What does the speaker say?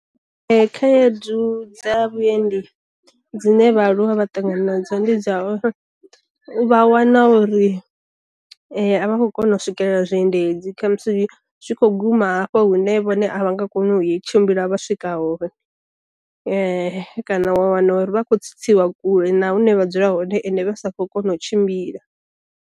Khaedu dza vhuendi dzine vha aluwa vha ṱangana nadzo ndi dza uri, vha wana uri a vha khou kona u swikelela zwi endedzi kha musi zwi kho guma hafha hune vhone a vha nga kona u ye tshimbila vha swika hone, kana wa wana uri vha khou tsitsiwa kule na hune vha dzula hone ende vha sa kho kona u tshimbila.